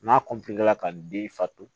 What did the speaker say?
N'a ka den fato